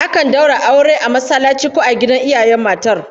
Akan daura aure a masallaci ko a gidan iyayen matar